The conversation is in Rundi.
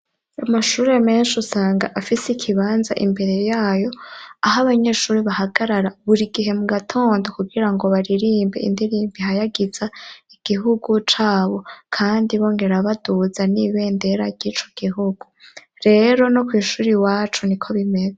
Amashure menshi usanga afise ikibanza imbere yayo, aho abanyeshure bahagarara buri gihe mu gatondo kugira ngo baririmbe indirimbo ihayagiza igihugu cabo. Kandi bongera baduza n'ibendera ry'icu gihugu. Rero no kw'ishuri iwacu niko bimeze.